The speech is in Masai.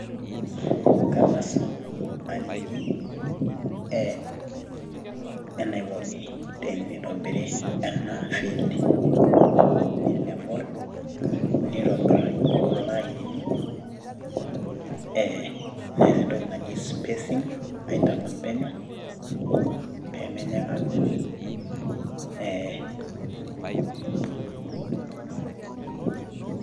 Keng'as aliki enaikoni teneirobiri ena field alevel naitobiraki kulo ainini ee nias entoki naji spacing nintalam penyo pee menyikakino eeeh.